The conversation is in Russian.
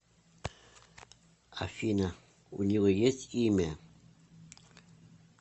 афина у него есть имя